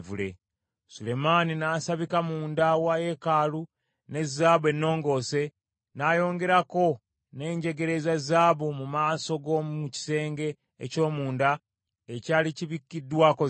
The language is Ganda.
Sulemaani n’asabika munda wa yeekaalu ne zaabu ennongoose, n’ayongerako n’enjegere eza zaabu mu maaso g’omu kisenge eky’omunda ekyali kibikiddwako zaabu.